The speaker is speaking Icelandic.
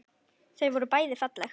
Og þau voru bæði falleg.